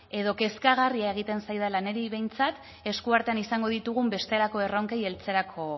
edo kezkagarria egiten zaidala niri behintzat esku artean izango ditugun bestelako erronkei heltzerako